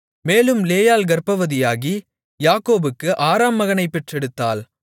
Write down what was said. மேலும் லேயாள் கர்ப்பவதியாகி யாக்கோபுக்கு ஆறாம் மகனைப் பெற்றெடுத்தாள்